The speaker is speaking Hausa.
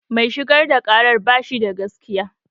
Mai shigar da ƙarar bashi da gaskiya